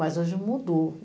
Mas, hoje, mudou.